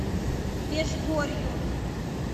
межгорью